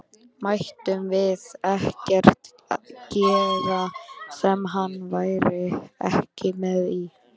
Mættum við ekkert gera sem hann væri ekki með í?